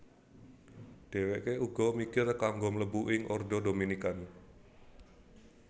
Dheweke uga mikir kanggo mlebu ing Ordo Dominican